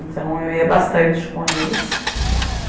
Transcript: Então, eu ia bastante com eles.